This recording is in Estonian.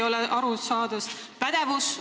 Teiseks, pädevus.